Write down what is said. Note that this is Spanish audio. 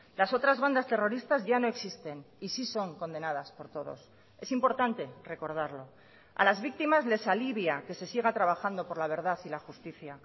las otras bandas terroristas ya no existen y sí son condenadas por todos es importante recordarlo a las víctimas les alivia que se siga trabajando por la verdad y la justicia